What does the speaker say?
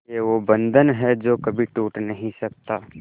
ये वो बंधन है जो कभी टूट नही सकता